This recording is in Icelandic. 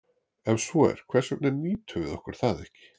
Ef svo er, hvers vegna nýtum við okkur það ekki?